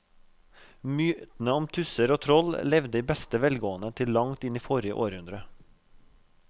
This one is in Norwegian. Mytene om tusser og troll levde i beste velgående til langt inn i forrige århundre.